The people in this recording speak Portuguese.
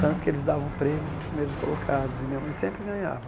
Tanto que eles davam prêmios para os primeiros colocados e minha mãe sempre ganhava.